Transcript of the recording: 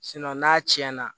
n'a tiɲɛna